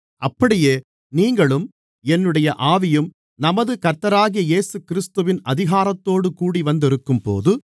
அப்படியே நீங்களும் என்னுடைய ஆவியும் நமது கர்த்தராகிய இயேசுகிறிஸ்துவின் அதிகாரத்தோடு கூடிவந்திருக்கும்போது